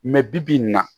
bi-bi in na